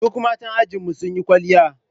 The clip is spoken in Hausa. Duk 'yan matan ajinmu sun yi kwalliya